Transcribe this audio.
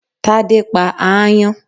Tádé pa aáyán